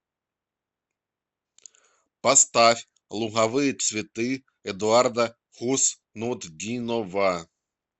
поставь луговые цветы эдуарда хуснутдинова